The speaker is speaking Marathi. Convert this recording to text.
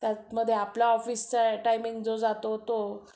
त्यामध्ये आपला ऑफिसचा जो टायमिंग जातो तो